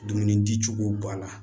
Dumuni di cogo b'a la